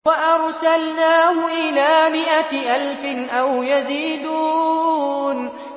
وَأَرْسَلْنَاهُ إِلَىٰ مِائَةِ أَلْفٍ أَوْ يَزِيدُونَ